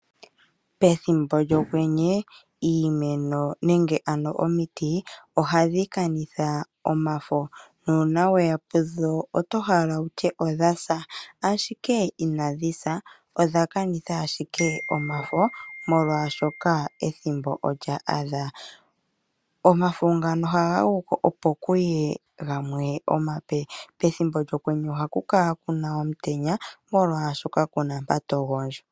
Ethimbo lyokwenyo iimeno nenge omiti ohadhi kanitha omafo, ngele oweya pudho oto hala wutye odha sa, ashike inadhi sa odha kanitha ashike omafo, oshoka ethimbo olya adha. Omafo ohaga fuko opo kuye gamwe omape. Ethimbo lyokwenyo ohaku kala kuna omutenya, oshoka kapu mpoka omuntu ta gondjo.